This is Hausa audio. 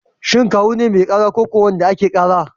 Shin Kawu ne mai ƙara ko wanda ake ƙara?